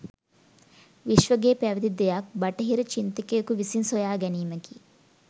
විශ්වගේ පැවති දෙයක් බටහිර චින්තකයකු විසින් සොයාගැනීමකි